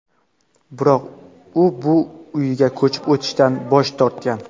Biroq u bu uyga ko‘chib o‘tishdan bosh tortgan.